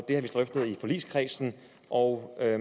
har vi drøftet i forligskredsen og da